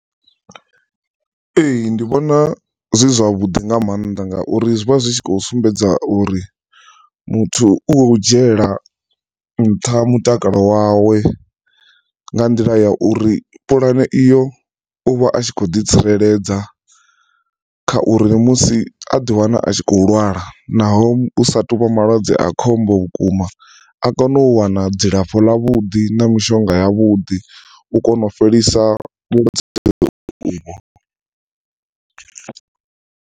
Ee, ndi vhona zwi zwavhuḓi nga maanḓa ngauri zwi vha zwi tshi kho sumbedza uri muthu u dzhiela nṱha mutakalo wawe nga nḓila ya uri pulane iyo u vha a tshi khou ḓi tsireledza kha uri musi a ḓi wana a tshi kho lwala naho hu sa tuvha malwadze a khombo vhukuma a kone u wana dzilafho ḽa vhuḓi na mishonga ya vhuḓi u kona u fhelisa vhulwadze uvho.